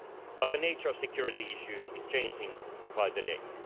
But the nature of security issues is changing by the day.